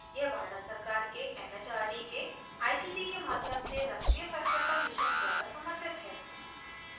यह भारत सरकार के it it आर दी के आई सी टी के माध्यम से राष्ट्रीय साक्षरता mission द्वारा समर्थित है